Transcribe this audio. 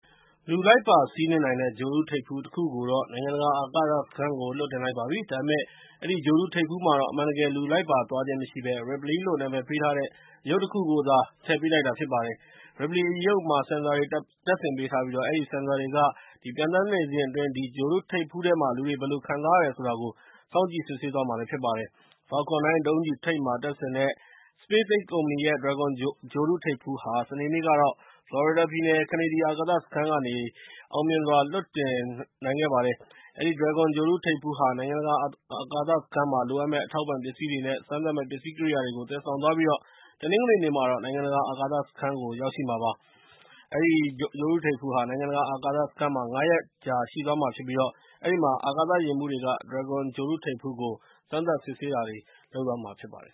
လူလိုက်ပါစီးနှင်းနှိင်တဲ့ ဂြိုဟ်တုထိပ်ဖူးတခုကိုတော့ နိုင်ငံတကာ အာကာသစခန်းကို လွှတ်တင်လိုက်ပါပြီ။ ဒါပေမဲ့ အဲဒီ ဂြိုဟ်တုထိပ်ဖူးမှာတော့ အမှန်တကယ် လူလိုက်ပါသွားခြင်း မရှိဘဲ Ripley လို့ နာမည်ပေးထားတဲ့ အရုပ်တခုကိုသာ ထည့်ပေးလိုက်တာဖြစ်ပါတယ်။ Ripley အရုပ်မှာ ဆင်ဆာတွေ တပ်ဆင်ပေးထားပြီး၊ အဲဒီဆင်ဆာတွေက ပျံသန်းနေစဉ်အတွင်း အဲဒီဂြိုဟ်တုထိပ်ဖူးထဲမှာ လူတွေဘယ်လိုခံစားရတယ်ဆိုတာကို လေ့လာစောင့်ကြည့်သွားမှာဖြစ်ပါတယ်။ Space X ကုမ္ပဏီရဲ့ Falcon 9 ဒုံးကျည်ထိပ်မှာ တပ်ဆင်တဲ့ Dragon ဂြိုဟ်တုထိပ်ဖူးဟာ စနေနေ့ကတော့ ဖလော်ရီဒါပြည်နယ်ကနေ ဒီအာကာသစခန်းကနေ အောင်မြင်စွာ လွှတ်တင်နိုင်ခဲ့ပါတယ်။ အဲဒီ Dragon ဂြိုဟ်တုထိပ်ဖူးဟာ နိုင်ငံတကာ အာကာသစခန်းမှာ လိုအပ်မယ့် စားနှပ်ရိက္ခာ အထောက်အပံ့ပစ္စည်းတွေနဲ့ စမ်းသပ်မယ့် ပစ္စည်းကိရိယာတွေကို သယ်ဆောင်သွားပြီးတော့ တနင်္ဂနွေနေ့မှာတော့ နိုင်ငံတကာ အာကာသစခန်းကို ရောက်မှာဖြစ်ပါတယ်။ Dragon ဂြိုဟ်တုထိပ်ဖူးဟာ နိုင်ငံတကာ အာကာသစခန်းမှာ ၅ ရက်ကြာ ရှိသွားမှာဖြစ်ပြီး၊ အဲဒီမှာရှိတဲ့ အာကာသယာဉ်မှူးတွေကလည်း Dragon ဂြိုဟ်တုထိပ်ဖူးကို စမ်းသပ်စစ်ဆေးသွားမှာဖြစ်ပါတယ်